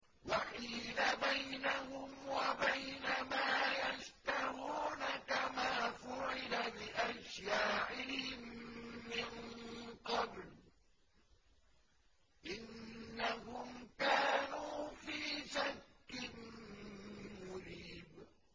وَحِيلَ بَيْنَهُمْ وَبَيْنَ مَا يَشْتَهُونَ كَمَا فُعِلَ بِأَشْيَاعِهِم مِّن قَبْلُ ۚ إِنَّهُمْ كَانُوا فِي شَكٍّ مُّرِيبٍ